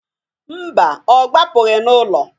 Mba, ọ gbapụgị n'ụlọ.